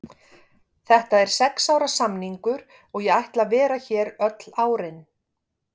Þetta er sex ára samningur og ég ætla að vera hér öll árin.